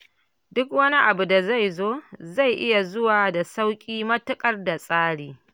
Duk wani abu da zai zo, zai iya zuwa da sauƙi matuƙar da tsari.